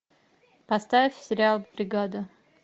поставь сериал бригада